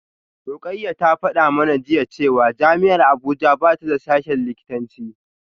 Rukayyah ta fada mana jiya cewa jami’ar Abuja ba ta da sashen likitanci